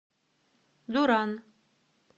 дуран